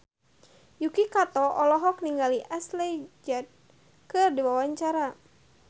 Yuki Kato olohok ningali Ashley Judd keur diwawancara